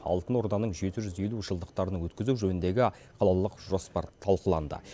алтын орданың жеті жүз елу жылдықтарын өткізу жөніндегі қалалық жоспар талқыланды